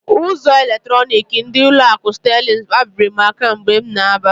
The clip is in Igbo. Ụzọ eletronik ndị ụlọ akụ Sterling kpabiri m aka mgbe m na-aba.